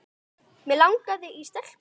Mig langaði í stelpu.